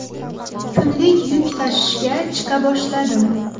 Kunlik yuk tashishga chiqa boshladim.